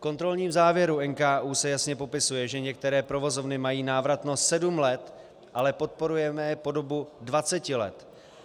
V kontrolní závěru NKÚ se jasně popisuje, že některé provozovny mají návratnost sedm let, ale podporujeme je po dobu dvaceti let.